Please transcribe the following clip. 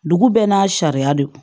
Dugu bɛɛ n'a sariya de don